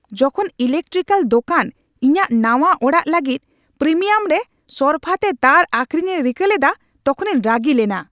ᱡᱚᱠᱷᱚᱱ ᱤᱞᱮᱠᱴᱨᱤᱠᱮᱞ ᱫᱳᱠᱟᱱ ᱤᱧᱟᱹᱜ ᱱᱟᱶᱟ ᱚᱲᱟᱜ ᱞᱟᱹᱜᱤᱫᱯᱨᱤᱢᱤᱭᱟᱢᱨᱮ ᱥᱚᱨᱯᱷᱟᱛᱮ ᱛᱟᱨ ᱟᱹᱠᱷᱨᱤᱧᱮ ᱨᱤᱠᱟᱹ ᱞᱮᱫᱟ ᱛᱚᱠᱷᱚᱱᱤᱧ ᱨᱟᱹᱜᱤ ᱞᱮᱱᱟ ᱾